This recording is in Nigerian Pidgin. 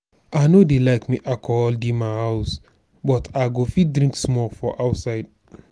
i no dey like make alcohol dey my house but i go fit drink small for outside